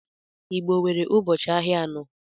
Igbo nwere ụbọchị ahịa anọ